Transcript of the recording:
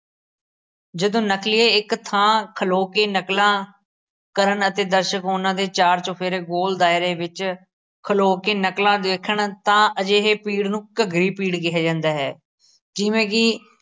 ਜਦੋਂ ਨਕਲੀਏ ਇੱਕ ਥਾਂ ਖਲੋ ਕੇ ਨਕਲਾਂ ਕਰਨ ਅਤੇ ਦਰਸ਼ਕ ਉਹਨਾਂ ਦੇ ਚਾਰ ਚੁਫੇਰੇ ਗੋਲ ਦਾਇਰੇ ਵਿੱਚ ਖਲੋ ਕੇ ਨਕਲਾਂ ਦੇਖਣ ਤਾਂ ਅਜਿਹੇ ਪੀੜ ਨੂੰ ਘੱਗਰੀ ਪੀੜ ਕਿਹਾ ਜਾਂਦਾ ਹੈ ਜਿਵੇਂ ਕਿ